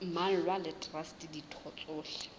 mmalwa le traste ditho tsohle